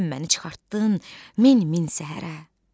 Sən məni çıxartdın min-min səhərə.